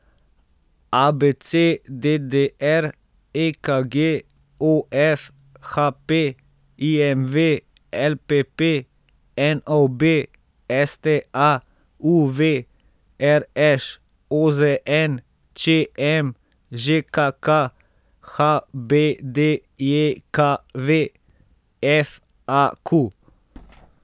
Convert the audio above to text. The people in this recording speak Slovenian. A B C; D D R; E K G; O F; H P; I M V; L P P; N O B; S T A; U V; R Š; O Z N; Č M; Ž K K; H B D J K V; F A Q.